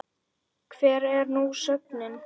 Hver er nú sögnin?